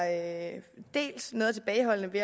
at